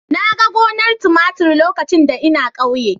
Na ga gonar tumatir lokacin da ina ƙauye.